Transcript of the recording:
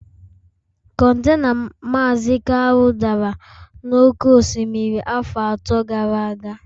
Contena Maazi Kalu dara n'oké osimiri afọ atọ gara aga